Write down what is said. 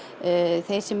þeir sem